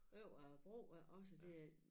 Over æ bro og også det er